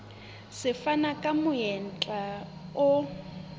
se fana ka monyetla o